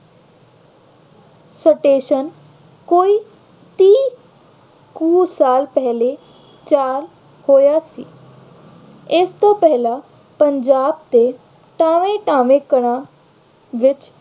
station ਕੋਈ ਤੀਹ ਕੁ ਸਾਲ ਪਹਿਲੇ ਤਿਆਰ ਹੋਇਆ ਸੀ। ਇਸ ਤੋਂ ਪਹਿਲਾਂ ਪੰਜਾਬ ਦੇ ਟਾਵੇਂ-ਟਾਵੇਂ ਘਰਾਂ ਵਿੱਚ